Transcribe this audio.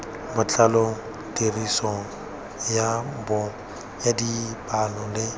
botlalo tiriso ya dipalo le